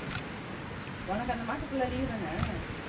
உனக்கு அந்த மாசம் full அ leave தானே